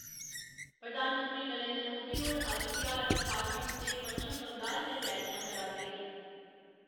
प्रधानमंत्री नरेन्द्र मोदी होर अज्ज बिहार, झारखंड ते पच्छम बंगाल च रैलियां करा 'रदे न।